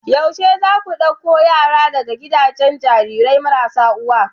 yaushe zaku dauko yaran daga gidajen Jarirai marasa uwa